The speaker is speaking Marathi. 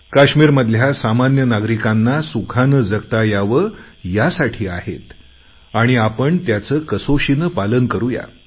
काश्मिरमधल्या सामान्य नागरिकांना सुखाने जगता यावे यासाठी आहेत आणि आपण त्याचे कसोशीने पालन करूया